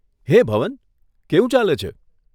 હે ભવન, કેવું ચાલે છે?